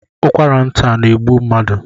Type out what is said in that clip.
Ụkwara nta na-egbu mmadụ